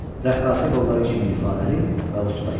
Rəqqasə qolları kimi ifadəli və usta idi.